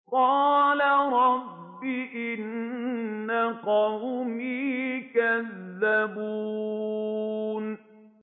قَالَ رَبِّ إِنَّ قَوْمِي كَذَّبُونِ